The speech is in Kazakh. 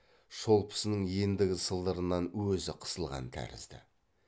шолпысының ендігі сылдырынан өзі қысылған тәрізді